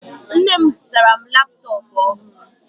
Nne m zụtara m laptọọpụ ọhụrụ